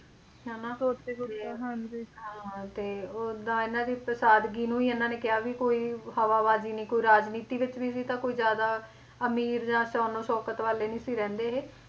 ਹਨਾਂ ਤੇ ਉੱਥੇ ਕੁਛ ਹਾਂ ਹਾਂ ਤੇ ਉਹਦਾ ਇਹਨਾਂ ਦੀ ਸਾਦਗੀ ਨੂੰ ਹੀ ਇਹਨਾਂ ਨੇ ਕਿਹਾ ਵੀ ਕੋਈ ਹਵਾਬਾਜ਼ੀ ਨੀ ਕੋਈ ਰਾਜਨੀਤੀ ਵਿੱਚ ਵੀ ਨੀ ਕੋਈ ਜ਼ਿਆਦਾ ਅਮੀਰ ਜਾਂ ਸ਼ਾਨੋ ਸ਼ੌਕਤ ਵਾਲੇ ਨਹੀਂ ਸੀ ਰਹਿੰਦੇ ਇਹ